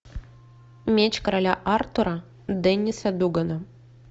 меч короля артура денниса дугана